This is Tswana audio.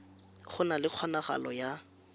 go na le kgonagalo ya